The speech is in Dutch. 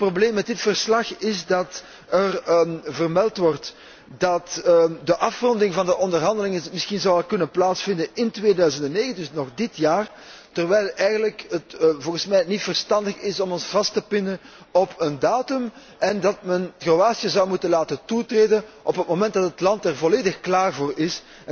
Het probleem met dit verslag is dat er vermeld wordt dat de afronding van de onderhandelingen misschien zou kunnen plaatsvinden in 2009, dus nog dit jaar, terwijl het eigenlijk volgens mij niet verstandig is om ons vast te pinnen op een datum en dat men Kroatië zou moeten laten toetreden op het moment dat het land er volledig klaar voor is.